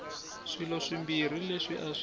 swilo swimbirhi leswi a swi